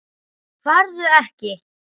Farðu ekki.